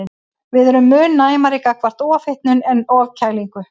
Við erum mun næmari gagnvart ofhitnun en ofkælingu.